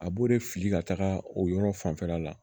A b'o de fili ka taga o yɔrɔ fanfɛla la